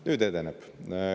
Nüüd edeneb.